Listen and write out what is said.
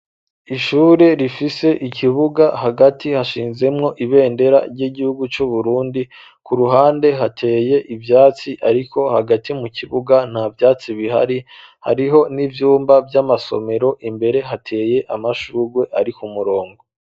Ishure rifise ikibuga, hagati hashinzemwo ibendera ry'igihugu c'Uburundi, ku ruhande hateye ivyatsi, ariko hagati mu kibuga nta vyatsi bihari, hariho n'ivyumba vy'amasomero, imbere hateye amashurwe ari ku murongo.